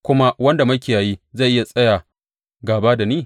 Kuma wanda makiyayi zai iya tsaya gāba da ni?